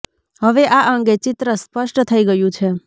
હવે આ અંગે ચિત્ર સ્પષ્ટ થઈ ગયું છે